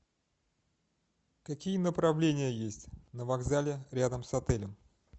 какие направления есть на вокзале рядом с отелем